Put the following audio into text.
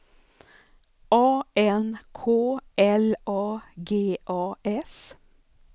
A N K L A G A S